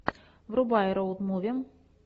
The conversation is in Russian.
врубай роуд муви